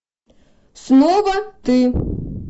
снова ты